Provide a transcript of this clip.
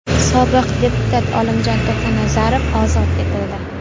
Sobiq deputat Olimjon To‘xtanazarov ozod etildi.